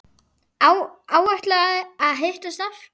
Áætlað að hittast aftur?